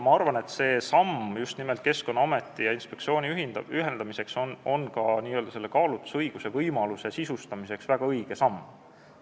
Ma arvan, et Keskkonnaameti ja Keskkonnainspektsiooni ühendamine on ka kaalutlusõiguse n-ö võimaluse sisustamiseks väga õige samm.